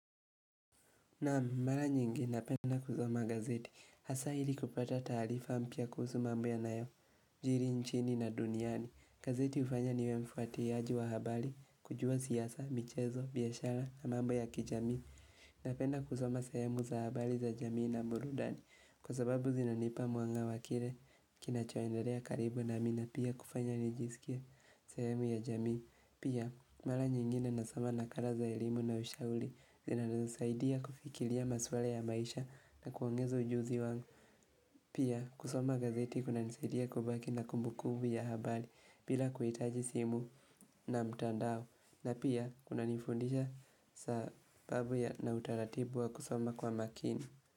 Naam, mara nyingi napenda kuzoma gazeti, hasa hili kupata taalifa mpya kuhusu mambo yanayo, jiri nchini na duniani. Gazeti hufanya niwe mfuatiaji wa habali, kujua siasa, michezo, biashara na mambo ya kijamii. Napenda kusoma sahemu za habali za jamii na burudani kwa sababu zinanipa mwanga wa kile kina choenderea karibu nami na pia kufanya nijisikie sahemu ya jamii. Pia, mala nyingine nasoma na kala za elimu na ushauli zinanasaidia kufikilia maswala ya maisha na kuongeza ujuzi wangu. Pia kusoma gazeti kuna nisidia kubaki na kumbu kumbu ya habari bila kuhitaji simu na mtandao na pia kunanifundisha sababu ya na utaratibu wa kusoma kwa makini.